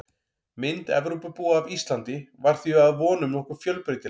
Mynd Evrópubúa af Íslandi var því að vonum nokkuð fjölbreytileg.